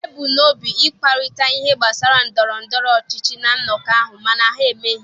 E bu n'obi ịkparịta ihe gbasara ndọrọ ndọrọ ọchịchị na nnọkọ ahụ mana ha emeghị.